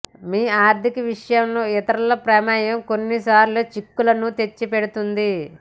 మీ ఆర్థిక విషయాల్లో ఇతరుల ప్రమేయం కొన్నిసార్లు చిక్కులను తెచ్చిపెడుతుంది